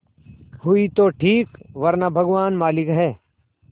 हुई तो ठीक वरना भगवान मालिक है